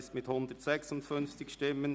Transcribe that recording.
Daniel Bichsel mit 156 Stimmen